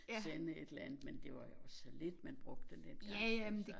Sende et eller andet men det var jo så lidt man brugte det dengang altså